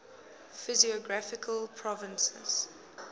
physiographic provinces